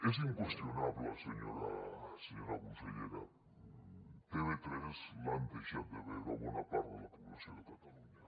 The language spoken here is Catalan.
és inqüestionable senyora consellera tv3 l’ha deixat de veure bona part de la població de catalunya